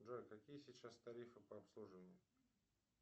джой какие сейчас тарифы по обслуживанию